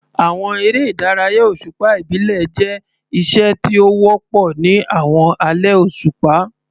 Àwọn eré ìdárayá òṣùpá ìbílẹ̀ jẹ́ iṣẹ́ tí ó wọ́pọ̀ ní àwọn alẹ́ òṣùpá.